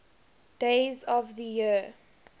days of the year